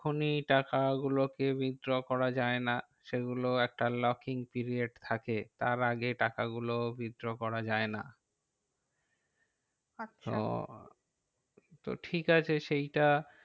এখনই টাকা গুলো কে withdraw করা যায় না। সেই গুলো একটা locking period থাকে, তার আগে টাকা গুলো withdraw করা যায় না। তো তো ঠিক আছে সেইটা